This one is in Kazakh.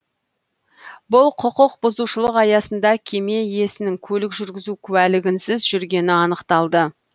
бұл құқық бұзушылық аясында кеме иесінің көлік жүргізу куәлігінсіз жүргені анықталды